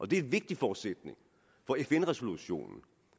det er en vigtig forudsætning for fn resolutionen